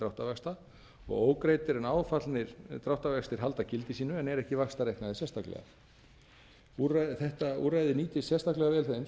dráttarvaxta ógreiddir en áfallnir dráttarvextir halda gildi sínu en eru ekki vaxtareiknaðir sérstaklega þetta úrræði nýtist sérstaklega vel þeim sem eiga við